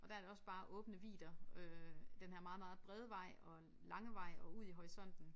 Og der er det også bare åbne vidder øh den her meget meget brede vej og lange vej og ud i horisonten